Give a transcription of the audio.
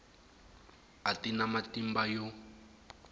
a ti na matimba yo